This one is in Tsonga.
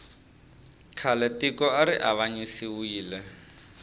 khale tiko ari avanyisiwile